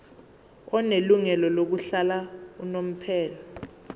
onelungelo lokuhlala unomphela